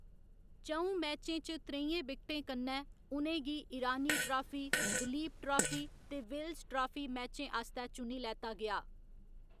च'ऊं मैचें च त्रेइयें विकेटें कन्नै, उ'नें गी ईरानी ट्राफी, दलीप ट्राफी ते विल्स ट्राफी मैचें आस्तै चुनी लैता गेआ।